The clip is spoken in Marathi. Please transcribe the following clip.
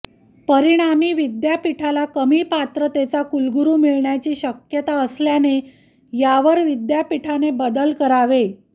परिणामी विद्यापीठाला कमी पात्रतेचा कुलगुरू मिळण्याची शक्यता असल्याने यावर विद्यापीठाने बदल करावेत